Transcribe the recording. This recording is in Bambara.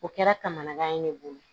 O kɛra kamanagan ye ne bolo